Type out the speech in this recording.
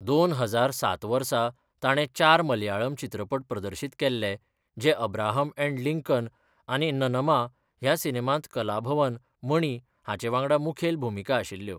दोन हजार सात वर्सा ताणें चार मलयाळम चित्रपट प्रदर्शीत केल्ले, जे अब्राहम अँड लिंकन आनी ननमा ह्या सिनेमांत कलाभवन मणि हांचे वांगडा मुखेल भुमिका आशिल्ल्यो.